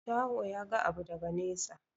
Shaho ya ga abu daga nesa.